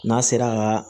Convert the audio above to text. N'a sera kaa